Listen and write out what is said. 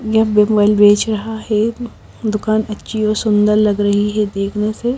यह मेमाइल बेच रहा है दुकान अच्छी और सुंदर लग रही है देखने से--